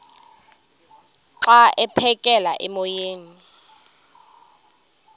xa aphekela emoyeni